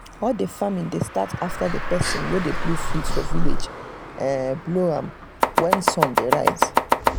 all the farming dey start after the person wey dey blow flute for village um blow am when sun dey rise.